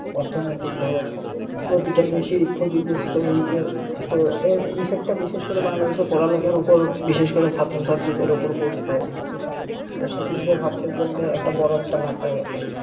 অর্থনৈতিক ভাবে প্রতিটা দেশই ক্ষতিগ্রস্থ হয়েছে তো এর বিশেষ করে বাংলাদেশের পড়ালেখার উপর বিশেষ করে ছাত্রছাত্রীদের উপর পড়ছে সেই দিক দিয়ে ভাবতে গেলে একটা বড় একটা ধাক্কা গেছে